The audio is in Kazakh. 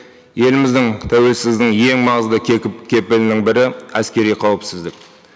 еліміздің тәуелсіздің ең маңызды кепілінің бірі әскери қауіпсіздік